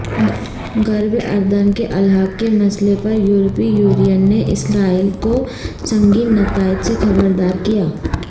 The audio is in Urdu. غرب اردن کے الحاق کے مسئلے پریورپی یونین نے اسرائیل کوسنگین نتائج سے خبردارکیا